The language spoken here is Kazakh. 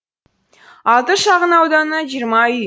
алты шағын ауданы жиырма үй